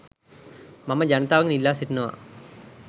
මම ජනතාවගෙන් ඉල්ලා සිටිනවා.